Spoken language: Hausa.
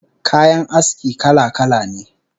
Kayan aski kala-kala ne